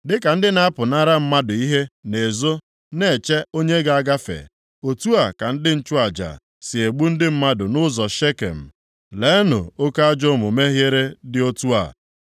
Dịka ndị na-apụnara mmadụ ihe na-ezo na-eche onye ga-agafe, otu a ka ndị nchụaja si egbu ndị mmadụ nʼụzọ Shekem, leenụ oke ajọ omume ihere dị otu a.